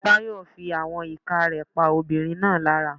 Tayo fí àwọn ìka rẹ̀ pa ọmọbìnrin náà lára.